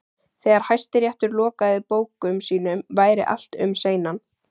Þegar Hæstiréttur lokaði bókum sínum væri allt um seinan.